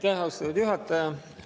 Aitäh, austatud juhataja!